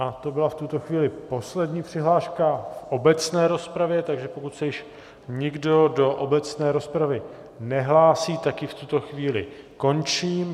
A to byla v tuto chvíli poslední přihláška v obecné rozpravě, takže pokud se již nikdo do obecné rozpravy nehlásí, tak ji v tuto chvíli končím.